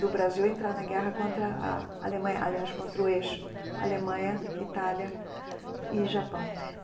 do Brasil entrar na guerra contra a a Alemanha, aliás, contra o eixo Alemanha, Itália e Japão.